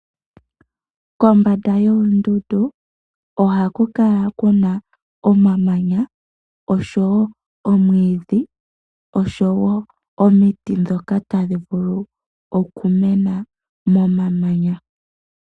Kombanda yoondundu ohaku kala ku na omamanya, omwiidhi nosho wo omiti ndhoka tadhi vulu okumena momanya.